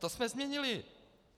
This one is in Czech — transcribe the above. To jsme změnili.